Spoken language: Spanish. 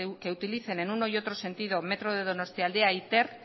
que utilicen en uno y otro sentido metro de donostialdea y ter